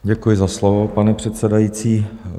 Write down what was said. Děkuji za slovo, pane předsedající.